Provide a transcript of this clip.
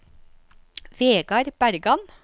Vegard Bergan